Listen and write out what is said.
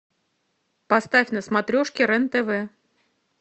поставь на смотрешке рен тв